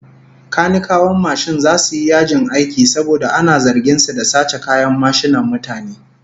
Kanikawan mashin zasu yi yajin aiki saboda ana zargin su da sace kayan mashinan mutane